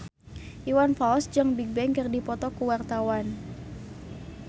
Iwan Fals jeung Bigbang keur dipoto ku wartawan